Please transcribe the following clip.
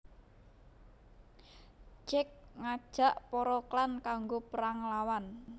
Jake ngajak para klan kanggo perang nglawan